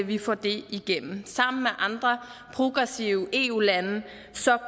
vi får det igennem sammen med andre progressive eu lande